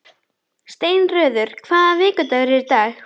Steinröður, hvaða vikudagur er í dag?